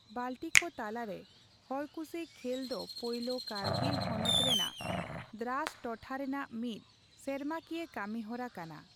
ᱵᱟᱹᱞᱴᱤᱠᱚ ᱛᱟᱞᱟ ᱨᱮ ᱦᱚᱲᱼᱠᱩᱥᱤ ᱠᱷᱮᱞ ᱫᱚ ᱯᱳᱞᱳ, ᱠᱟᱹᱨᱜᱤᱞ ᱦᱚᱱᱚᱛ ᱨᱮᱱᱟᱜ ᱫᱨᱟᱥ ᱴᱚᱴᱷᱟ ᱨᱮᱱᱟᱜ ᱢᱤᱫ ᱥᱮᱨᱢᱟᱠᱤᱭᱟ ᱠᱟᱹᱢᱤ ᱦᱚᱨᱟ ᱠᱟᱱᱟ ᱾